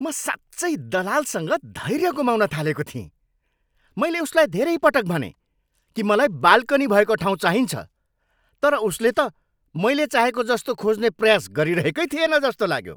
म साँच्चै दलालसँग धैर्य गुमाउन थालेको थिएँ। मैले उसलाई धेरै पटक भनेँ कि मलाई बाल्कनी भएको ठाउँ चाहिन्छ। तर उसले त मैले चाहेको जस्तो खोज्ने प्रयास गरिरहेकै थिएन जस्तो लाग्यो।